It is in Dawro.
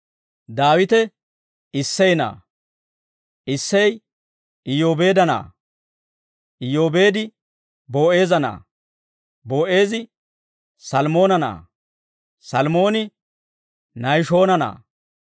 Daawite Issey na'aa; Issey Iyyoobeedda na'aa; Iyoobeedi Boo'eeza Na'aa; Boo'eezi Salmoona na'aa; Salmooni Nahishoona na'aa;